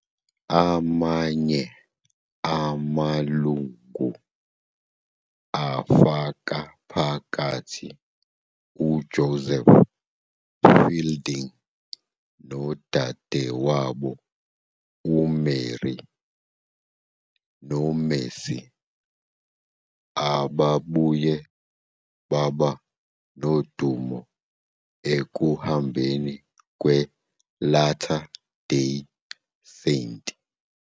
Amanye amalungu afaka phakathi uJoseph Fielding nodadewabo uMary noMercy, ababuye baba nodumo ekuhambeni kweLatter Day Saint.